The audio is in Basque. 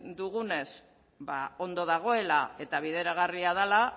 dugunez ondo dagoela eta bideragarria dela